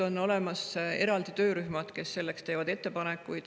On olemas eraldi töörühmad, kes teevad ettepanekuid.